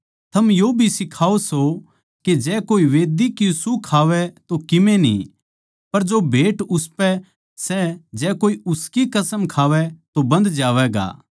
थम यो भी सिखाओ सो के जै कोए मंढही की सूह खावै तो किमे न्ही पर जो भेंट उसपै सै जै कोए उसकी कसम खावै तो बन्ध जावैगा